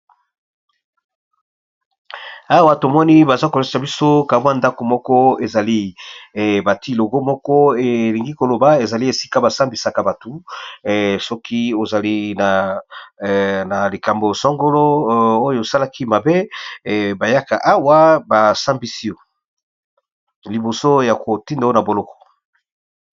Awa tomoni bazo kolakisa biso ndaku moko ezali batie logo, moko elingi koloba ezali esika basambisaka bato, soki ozali na likambo songolo oyo osalaki mabe bayaka awa basambisi yo liboso ya kotinda yo na boloko.